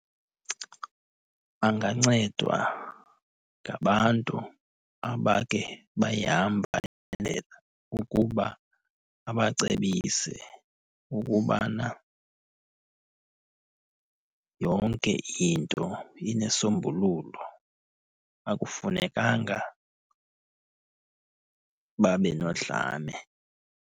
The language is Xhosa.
Bangancedwa ngabantu abakhe bayihamba le ukuba abacebise ukubana yonke into inesombululo. Akufunekanga babe nodlame.